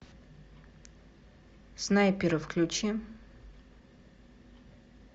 снайперы включи